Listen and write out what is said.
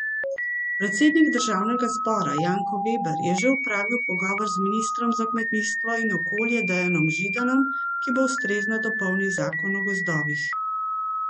Predsednik državnega zbora Janko Veber je že opravil pogovor z ministrom za kmetijstvo in okolje Dejanom Židanom, ki bo ustrezno dopolnil zakon o gozdovih.